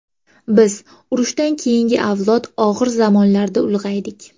Biz urushdan keyingi avlod og‘ir zamonlarda ulg‘aydik.